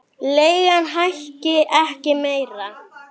Leigan hækki ekki meira.